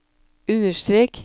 understrek